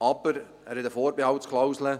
Aber er enthält eine Vorbehaltsklausel.